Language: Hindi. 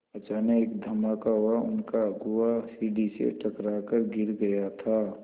अचानक एक धमाका हुआ उनका अगुआ सीढ़ी से टकरा कर गिर गया था